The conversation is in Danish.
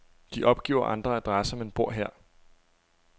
De opgiver andre adresser, men bor her.